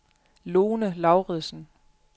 Lone Lauridsen